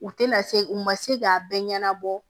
U tɛna se u ma se k'a bɛɛ ɲɛnabɔ